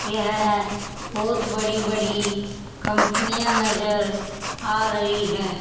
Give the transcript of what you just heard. यह बहोत बड़ी बड़ी कंपनियां नजर आ रही है।